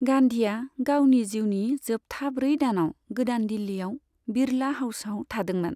गान्धीआ गावनि जिउनि जोबथा ब्रै दानाव गोदान दिल्लीआव बिड़ला हाउसआव थादोंमोन।